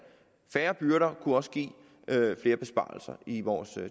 færre byrder kunne også give flere besparelser i vores